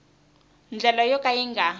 ndlela yo ka yi nga